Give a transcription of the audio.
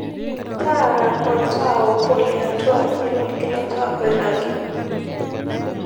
taara oltaa obo le atua aaji lolgilata oirragi